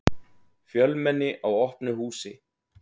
Fjölmenni á opnu húsi